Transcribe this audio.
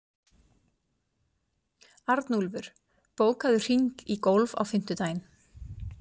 Arnúlfur, bókaðu hring í golf á fimmtudaginn.